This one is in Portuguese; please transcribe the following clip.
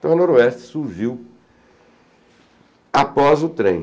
Então, a Noroeste surgiu após o trem.